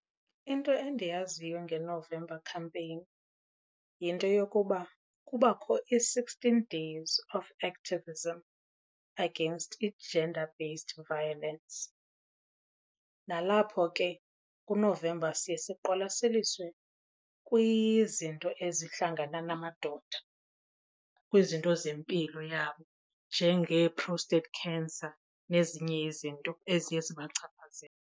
Into endiyaziyo ngeNovember Campaign yinto yokuba kubakho i-sixteen days of activism against i-gender based violence. Nalapho ke kuNovemba siye siqwalaseliswe kwizinto ezihlangana namadoda kwizinto zempilo yabo njengee-prostate cancer nezinye izinto eziye zibachaphazele.